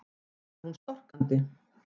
sagði hún storkandi.